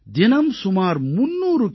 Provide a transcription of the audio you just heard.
தினம் சுமார் 300 கி